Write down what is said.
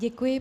Děkuji.